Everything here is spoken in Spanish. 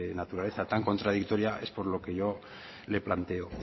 naturaleza tan contradictora es por lo que yo le planteo